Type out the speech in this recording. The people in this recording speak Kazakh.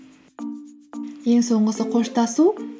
ең соңғысы қоштасу